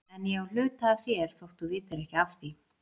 En ég á hluta af þér þótt þú vitir ekki af því.